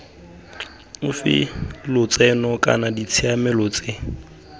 ofe lotseno kana ditshiamelo tse